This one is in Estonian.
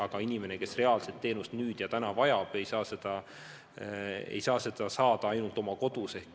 Aga inimene, kes reaalselt teenust nüüd ja kohe vajab, ei saa seda saada ainult oma kodus.